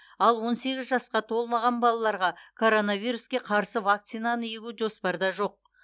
ал он сегіз жасқа толмаған балаларға коронавируске қарсы вакцинаны егу жоспарда жоқ